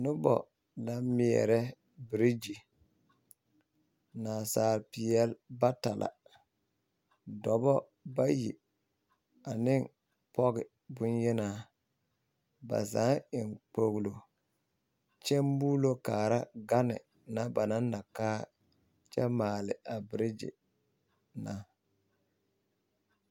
Noba naŋ meɛrɛ birigyi nansaalepeɛle bata la dɔbɔ bayi ane pɔge boŋyenaa ba zaa eŋ kpoglo muulo kaara gane ba naŋ na kaa kyɛ maale a birigyi na.